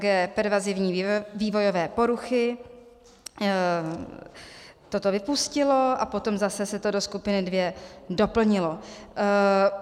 g) pervazivní vývojové poruchy toto vypustilo a potom zase se to do skupiny 2 doplnilo.